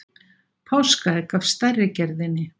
Páskaegg af stærri gerðinni.